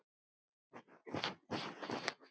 Elsku besti, pabbi minn.